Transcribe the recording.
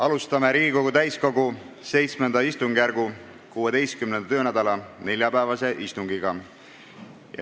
Alustame Riigikogu täiskogu VII istungjärgu 16. töönädala neljapäevast istungit.